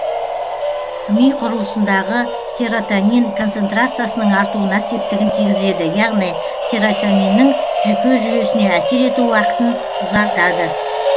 ми құрылысындағы серотонин концентрациясының артуына септігін тигізеді яғни серотониннің жүйке жүйесіне әсер ету уақытын ұзартады